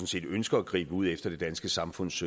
set ønsker at gribe ud efter det danske samfunds